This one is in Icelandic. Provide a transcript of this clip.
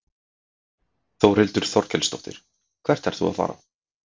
Þórhildur Þorkelsdóttir: Hvert ert þú að fara?